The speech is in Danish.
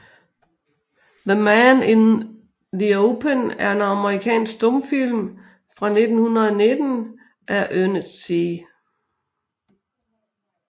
The Man in the Open er en amerikansk stumfilm fra 1919 af Ernest C